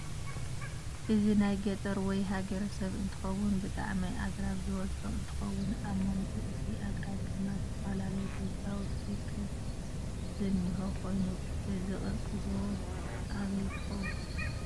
እዚ ናይ ገጠር ወይ ሃገረሰብ እንትኸውን ብጣዓም አግራብ ዝበዝሖ እንትኸውን አበ መንጉ እቲ አጊረብ ድማ ዝተፈላለዪ ገዛውት ከም ዝነህ ኾይኑ እዛ ቅርፂ ጎቦ አበይ ትከውን?